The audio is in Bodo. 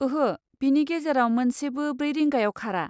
ओहो, बेनि गेजेराव मोनसेबो ब्रै रिंगायाव खारा।